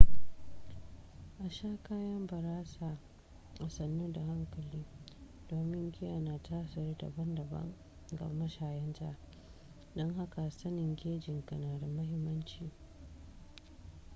a sha kayan barasa a sannu da hankali domin giya na tasiri daban daban ga mashayanta don haka sanin gejinka na da mahimmanci